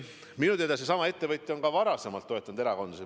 Minu teada on see ettevõtja ka varem erakondasid toetanud.